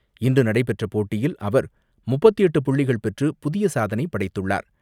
இன்று நடைபெற்ற போட்டியில், அவர் முப்பத்து எட்டு புள்ளிகள் பெற்று புதிய சாதனை படைத்துள்ளார்.